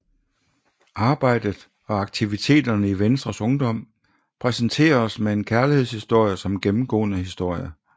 Arbejdet og aktiviteterne i Venstres Ungdom præsenteres med en kærlighedshistorie som gennemgående historie